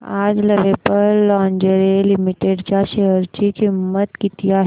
आज Lovable Lingerie Limited च्या share ची किंमत किती आहे